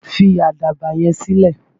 Fi àdàbà yẹn sílẹ̀!